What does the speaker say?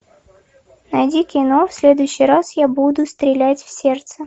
найди кино в следующий раз я буду стрелять в сердце